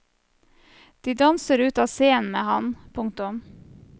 De danser ut av scenen med ham. punktum